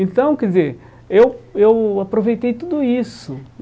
Então, quer dizer, eu eu aproveitei tudo isso.